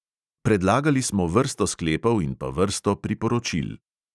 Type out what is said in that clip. Predlagali smo vrsto sklepov in pa vrsto priporočil.